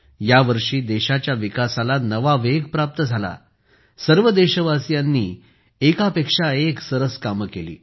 या वर्षी देशाच्या विकासाला नवा वेग प्राप्त झाला सर्व देशवासीयांनी एकापेक्षा एक कामे केली